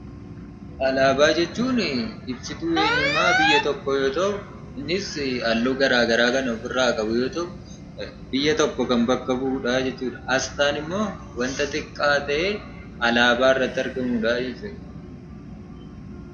Alaabaa jechuunii ibsituu eenyummaa biyya tokkoo yoo ta'u, innis halluu garaa garaa kan ofirraa qabu yoo ta'u biyya tokko kan bakka bu'udhaa jechuudha . Asxaan immoo wanta xiqqaa ta'ee alaabaa irratti argamudhaa jechuudha.